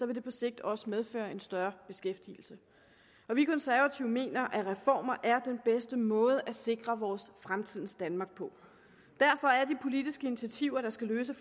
det på sigt også medføre en større beskæftigelse vi konservative mener at reformer er den bedste måde at sikre vores fremtidens danmark på og derfor er de politiske initiativer der skal løse